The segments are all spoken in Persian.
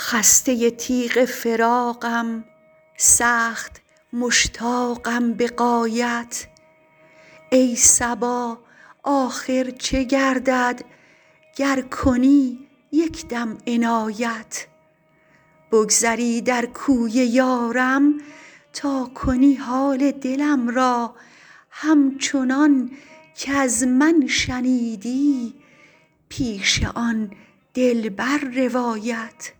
خسته تیغ فراقم سخت مشتاقم به غایت ای صبا آخر چه گردد گر کنی یکدم عنایت بگذری در کوی یارم تا کنی حال دلم را همچنان کز من شنیدی پیش آن دلبر روایت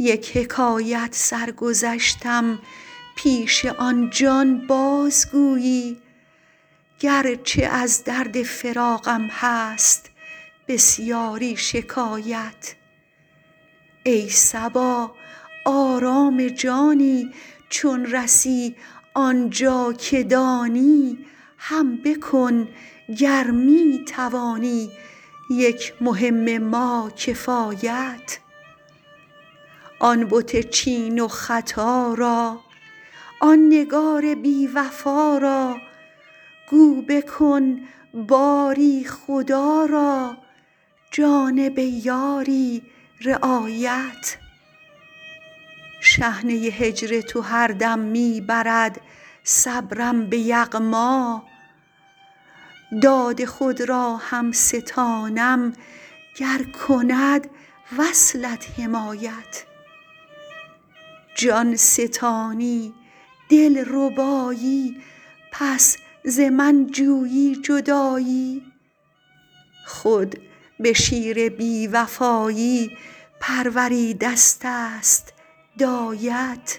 یک حکایت سر گذشتم پیش آن جان بازگویی گرچه از درد فراقم هست بسیاری شکایت ای صبا آرام جانی چون رسی آنجا که دانی هم بکن گر می توانی یک مهم ما کفایت آن بت چین و ختا را آن نگار بی وفا را گو بکن باری خدا را جانب یاری رعایت شحنه هجر تو هر دم می برد صبرم به یغما داد خود را هم ستانم گر کند وصلت حمایت جان ستانی دلربایی پس ز من جویی جدایی خود به شیر بی وفایی پروریدستست دایت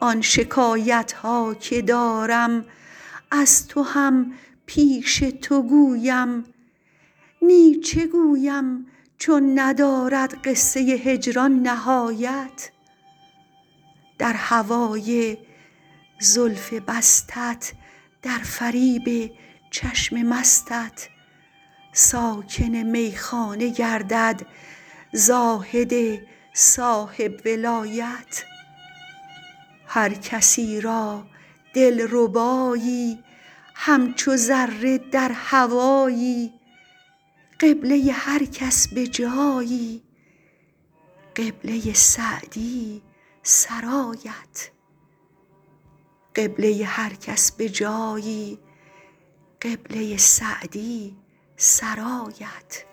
آن شکایت ها که دارم از تو هم پیش تو گویم نی چه گویم چون ندارد قصه هجران نهایت در هوای زلف بستت در فریب چشم مستت ساکن میخانه گردد زاهد صاحب ولایت هر کسی را دلربایی همچو ذره در هوایی قبله هر کس به جایی قبله سعدی سرایت